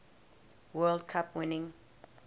world cup winning